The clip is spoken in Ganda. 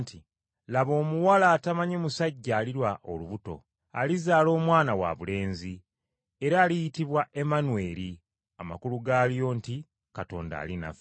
“Laba omuwala atamanyi musajja aliba olubuto, alizaala omwana wabulenzi, era aliyitibwa Emmanweri.” Amakulu gaalyo nti, “Katonda ali naffe.”